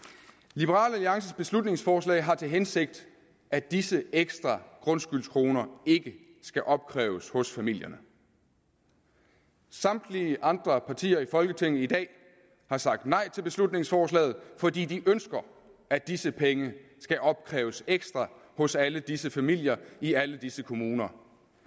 liberal alliances beslutningsforslag har til hensigt at disse ekstra grundskyldskroner ikke skal opkræves hos familierne samtlige andre partier i folketinget i dag har sagt nej til beslutningsforslaget fordi de ønsker at disse penge skal opkræves ekstra hos alle disse familier i alle disse kommuner